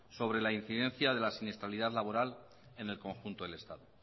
sobre la incidencia de la siniestralidad laboral en el conjunto del estado